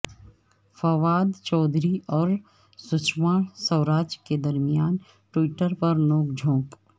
فواد چوہدری اور سشما سوراج کے درمیان ٹویٹر پر نوک جھونک